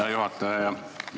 Hea juhataja!